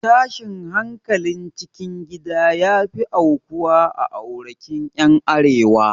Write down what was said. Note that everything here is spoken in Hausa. Tashin hankalin cikin gida ya fi aukuwa a aurekin ƴan arewa